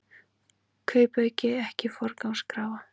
Kaupauki ekki forgangskrafa